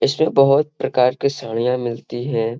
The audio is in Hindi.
इसमें बोहत प्रकार के साड़ियाँ मिलती हैं।